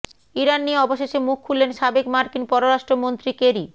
Iran নিয়ে অবশেষে মুখ খুললেন সাবেক মার্কিন পররাষ্ট্রমন্ত্রী কেরি